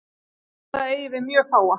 Held að það eigi við mjög fáa.